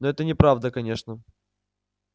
но это неправда конечно